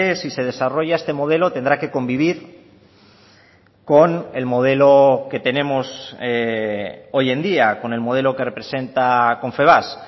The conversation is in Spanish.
si se desarrolla este modelo tendrá que convivir con el modelo que tenemos hoy en día con el modelo que representa confebask